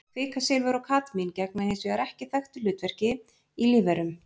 Kvikasilfur og kadmín gegna hins vegar ekki þekktu hlutverki í lífverum.